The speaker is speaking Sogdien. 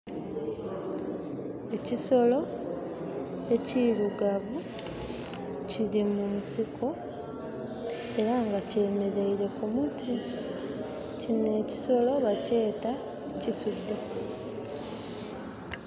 Ekisolo ekirugavu kiri munsiko era nga kyemeleire ku muti. Kino ekisolo bakyeta kisudhe.